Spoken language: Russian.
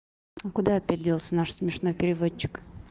а куда опять делся наш смешной переводчик